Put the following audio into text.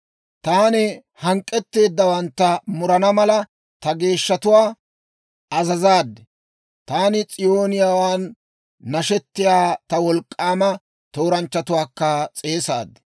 Taani hank'k'etteeddawantta murana mala, ta geeshshatuwaa azazaad; taani s'ooniyaawaan nashetiyaa ta wolk'k'aama tooranchchatuwaakka s'eesaad.